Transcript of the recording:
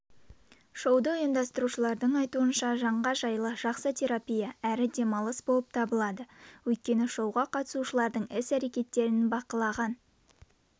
шоуды ұйымдастырушылардың айтуынша жанға жайлы жақсы терапия әрі демалыс болып табылады өйткені шоуға қатысушылардың іс-әрекеттерін бақылаған